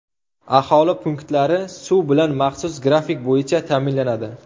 Aholi punktlari suv bilan maxsus grafik bo‘yicha ta’minlanadi.